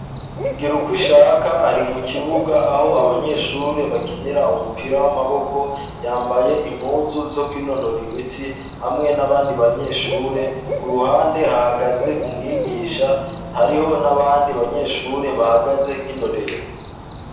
Igirukwishaka ari mu kibuga aho abanyeshure bakinira umupira w'amaboko yambaye impuzu zo ku'inonora imitsi hamwe n'abandi banyeshure ku ruhande hahagaze umwigisha hariho n'abandi banyeshure bahagaze nk'indorerezi.